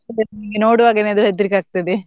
ಅದನ್ ನೋಡ್ವಾಗನೇ ಅದು ಹೆದ್ರಿಕೆ ಆಗ್ತದೆ.